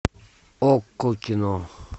окко кино